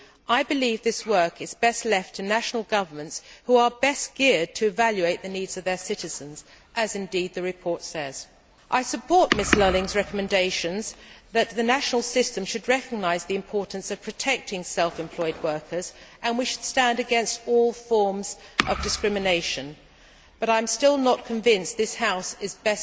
I believe that this work is best left to national governments, who are best geared to evaluate the needs of their citizens as, indeed, the report says. I support Ms Lulling's recommendations that the national systems should recognise the importance of protecting self employed workers, and we should stand against all forms of discrimination, but I am still not convinced that this House is best placed to work on employment matters.